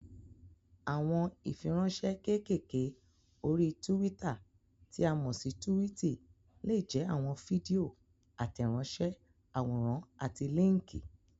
Àwọn ìfiránsẹ́ kékèké orí túwítà tí a mọ̀ sí túwìtì lè jẹ́ àwọn fídíò, àtẹ̀ránsẹ́, àwòrán àti líńkì.